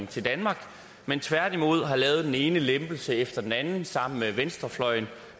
til danmark men tværtimod har lavet den ene lempelse efter den anden sammen med venstrefløjen